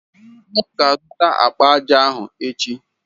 Ọ azụta akpa aja ahụ echi.